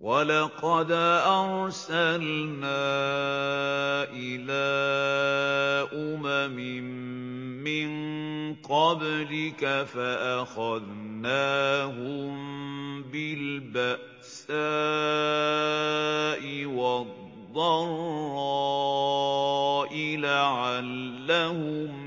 وَلَقَدْ أَرْسَلْنَا إِلَىٰ أُمَمٍ مِّن قَبْلِكَ فَأَخَذْنَاهُم بِالْبَأْسَاءِ وَالضَّرَّاءِ لَعَلَّهُمْ